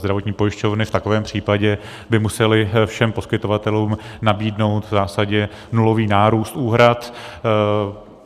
Zdravotní pojišťovny v takovém případě by musely všem poskytovatelům nabídnout v zásadě nulový nárůst úhrad.